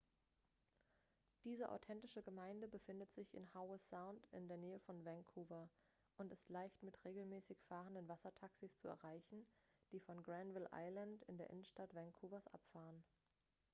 diese authentische gemeinde befindet sich in howe sound in der nähe von vancouver und ist leicht mit regelmäßig fahrenden wassertaxis zu erreichen die von granville island in der innenstadt vancouvers abfahren